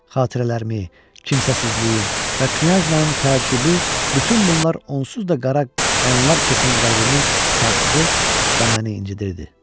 Xatirələrimi, kimsəsizliyim və knyajnan təəccübü bütün bunlar onsuz da qara qanlar keçən qəlbimi sarsıdır və məni incidirdi.